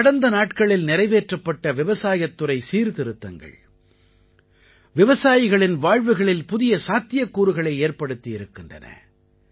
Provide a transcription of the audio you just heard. கடந்த நாட்களில் நிறைவேற்றப்பட்ட விவசாயத் துறை சீர்திருத்தங்கள் விவசாயிகளின் வாழ்வுகளில் புதிய சாத்தியக்கூறுகளை ஏற்படுத்தியிருக்கின்றன